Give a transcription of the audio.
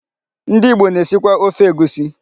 Ndị Igbo na-esikwa ofe egusi.